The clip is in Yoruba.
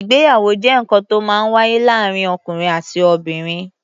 Ìgbéyàwó jẹ́ nǹkan to ó máa ń wáyé láàárín ọ̀kùnrin àti obìnrin.